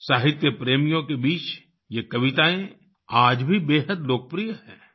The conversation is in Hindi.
साहित्य प्रेमियों के बीच ये कवितायें आज भी बेहद लोकप्रिय हैं